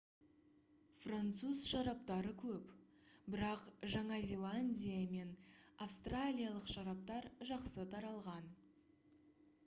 француз шараптары көп бірақ жаңа зеландия мен австралиялық шараптар жақсы таралған